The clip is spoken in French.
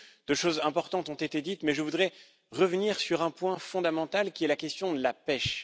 Beaucoup de choses importantes ont été dites, mais je voudrais revenir sur un point fondamental, qui est la question de la pêche.